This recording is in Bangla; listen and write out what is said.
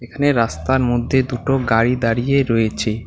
এখানে রাস্তার মধ্যে দুটো গাড়ি দাঁড়িয়ে রয়েছে।